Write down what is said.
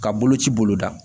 Ka boloci boloda